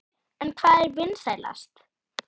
En hvað er vinsælast?